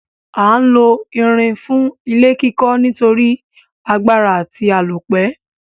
A n lo irin fún ilé kíkó nítorí agbára àti àlópẹ́